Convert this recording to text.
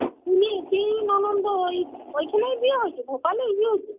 তুমি তিন ননদও ঐ ওইখানেই বিয়ে হয়েছে? Bhopal এই বিয়ে হয়েছে?